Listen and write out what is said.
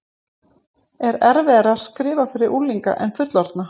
Er erfiðara að skrifa fyrir unglinga en fullorðna?